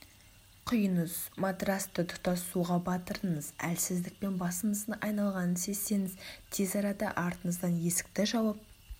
құйыңыз матрасты тұтас суға батырыңыз әлсіздік пен басыңыздың айналғанын сезсеңіз тез арада артыңыздан есікті жауып